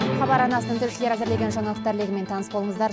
хабар арнасының тілшілері әзірлеген жаңалықтар легімен таныс болыңыздар